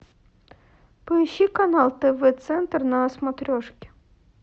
поищи канал тв центр на смотрешке